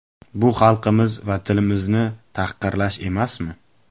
Bu xalqimiz va tilimizni tahqirlash emasmi?